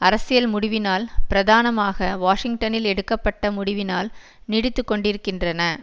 அரசியல் முடிவினால் பிரதானமாக வாஷிங்டனில் எடுக்க பட்ட முடிவினால் நீடித்துக்கொண்டிருக்கின்றன